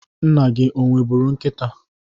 Nna gi o nwebụru nkịta?